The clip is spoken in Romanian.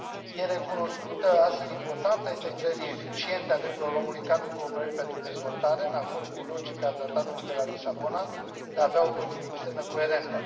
E recunoscută astfel importanța integrării eficiente a drepturilor omului în cadrul cooperării pentru dezvoltare, în acord cu logica Tratatului de la Lisabona de a avea o politică externă coerentă.